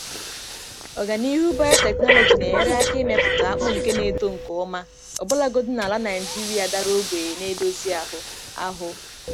Ọganihu biotechnology na-enyere aka imepụta akpụ nke na-eto nke ọma ọbụlagodi na ala Naijiria dara ogbenye na-edozi ahụ. ahụ.